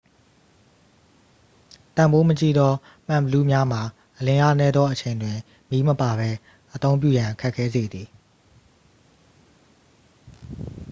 တန်ဖိုးမကြီးသော မှန်ဘီလူးများမှာ အလင်းအားနည်းသော အချိန်တွင် မီးမပါပဲ အသုံးပြုရန် ခက်ခဲစေသည်